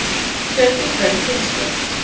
Fjöldi í hverri kynslóð.